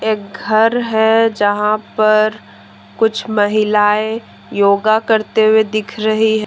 घर है जहां पर कुछ महिलाएं योग करते हुए दिख रही है।